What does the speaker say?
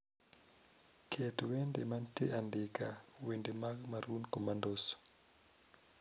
Ket wende mantie andike wende mag maroon commandos